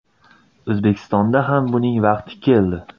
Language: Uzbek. O‘zbekistonda ham buning vaqti keldi.